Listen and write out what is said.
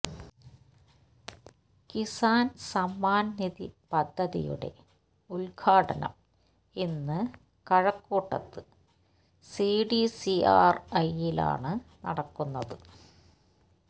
കിസാന് സമ്മാന് നിധി പദ്ധതിയുടെ ഉദ്ഘാടനം ഇന്ന് കഴക്കൂട്ടത്ത് സിഡിസിആര്ഐയിലാണ് നടക്കുന്നത്